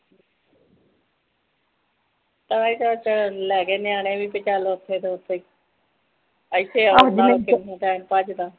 ਉਹੀ ਤਧ ਲੈਗੇ ਨਿਆਣੇ ਵੀ ਚਲੋ ਉਥੇ ਤੋਂ ਉਥੇ ਹੀ ਇਥੇ ਆਓ ਜੇ time ਕੱਢ ਦਾ